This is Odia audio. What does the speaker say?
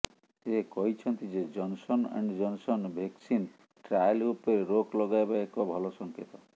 ସେ କହିଛନ୍ତି ଯେ Johnson and Johnson vaccine trial ଉପରେ ରୋକ ଲଗାଇବା ଏକ ଭଲ ସଂକେତ